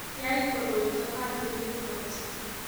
Yai koroito katilil kot